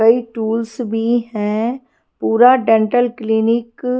कई टूल्स भी हैं पूरा डेंटल क्लीनिक .--